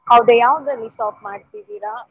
ಹೌದಾ ಯಾವುದ್ರಲ್ಲಿ shop ಮಾಡ್ತಿದ್ದೀರಾ?